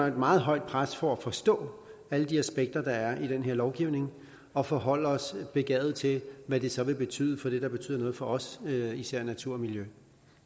et meget højt pres for at forstå alle de aspekter der er i den her lovgivning og forholde os begavet til hvad det så vil betyde for det der betyder noget for os især natur og miljø